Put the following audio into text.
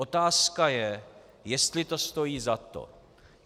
Otázka je, jestli to stojí za to.